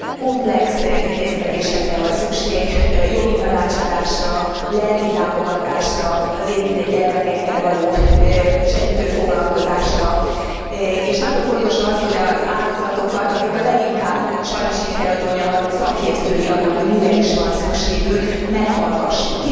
Komplex intézkedésekre van szükség, jogi tanácsadásra, lelki támogatásra, az érintett gyermekekkel való segítő foglalkozásra, és nagyon fontos az, hogy az áldozatokat, akik a leginkább sajnos így kell, hogy mondjam a szakértői annak, hogy mire is van szükségük, meghallgassuk.